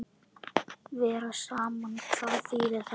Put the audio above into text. Vera saman, hvað þýðir það?